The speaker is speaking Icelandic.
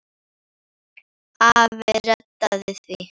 Afi reddaði því.